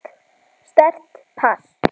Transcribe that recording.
Sterkt pass.